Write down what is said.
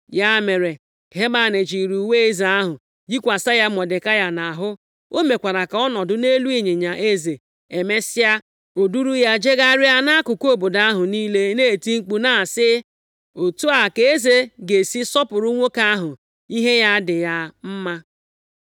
Ya mere, Heman chịịrị uwe eze ahụ yikwasị ya Mọdekai nʼahụ. O mekwara ka ọ nọdụ nʼelu ịnyịnya eze. Emesịa, o duuru ya jegharịa nʼakụkụ obodo ahụ niile na-eti mkpu na-asị, “Otu a ka eze ga-esi sọpụrụ nwoke ahụ ihe ya dị ya mma.”